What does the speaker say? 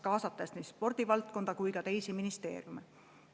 Kaasatud on nii spordivaldkonna kui ka teisi ministeeriume.